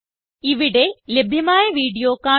ഇവിടെ ലഭ്യമായ വീഡിയോ കാണുക